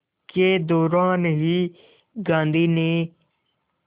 के दौरान ही गांधी ने